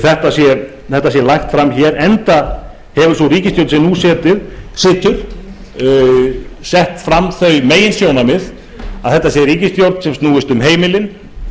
þetta sé lagt fram hér enda hefur sú ríkisstjórn sem nú situr sett fram þau meginsjónarmið að þetta sé ríkisstjórn sem snúist um heimilin